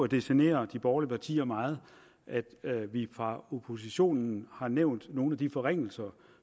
det generer de borgerlige partier meget at at vi fra oppositionens har nævnt nogle af de forringelser